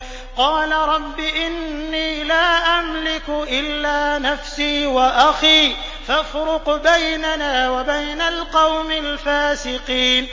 قَالَ رَبِّ إِنِّي لَا أَمْلِكُ إِلَّا نَفْسِي وَأَخِي ۖ فَافْرُقْ بَيْنَنَا وَبَيْنَ الْقَوْمِ الْفَاسِقِينَ